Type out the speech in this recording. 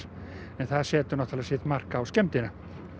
en það setur sitt mark á skemmdina